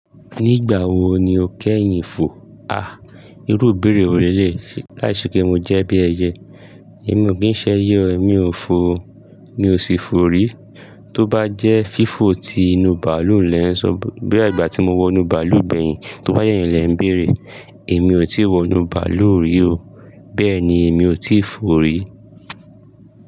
Nígbà wo ni o kẹ́yìn fò? À, irú ìbéèrè ò lè láìṣe kí n jẹ́ bí ẹyẹ. Èmi ò kín ṣẹ eye o èmi ò fò o, mi ò sí fò rí. Tó bá jẹ́ fífo ti inú bàálù lẹ ń sọ, bí i ìgbà tí mo wọnú bàálù gbẹ̀yìn, tó bá yẹ́ ń lè ń béèrè, èmi ò tí wọ inú bàálù rí o. Bẹ́ẹ̀ ni èmi ò tí fò rí.